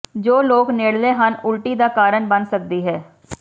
ਜੋ ਲੋਕ ਨੇੜਲੇ ਹਨ ਉਲਟੀ ਦਾ ਕਾਰਨ ਬਣ ਸਕਦੀ ਹੈ